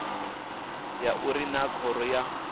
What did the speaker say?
ya uri naa khoro ya